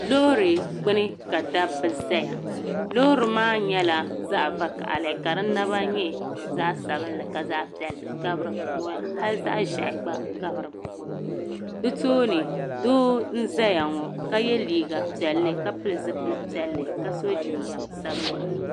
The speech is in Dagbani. Loori gbuni ka dabbi zaya loori maa yɛla zaɣi vakahili ka di naba yɛ zaɣi sabinli ka zaɣi piɛlli gabi di puuni hali zaɣi ʒɛhi gba gabi di puuni di tooni doo n zaya ŋɔ ka yiɛ liiga piɛlli ka pili zipili piɛli ka so jinjɛm sabinli.